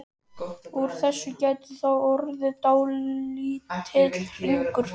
Úr þessu gæti þá orðið dálítill hringur.